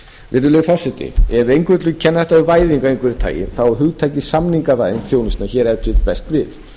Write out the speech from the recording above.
virðulegi forseti ef einhver vill kenna þetta við væðingu af einhverju tagi þá á hugtakið samningavæðing þjónustunnar hér ef til vill best við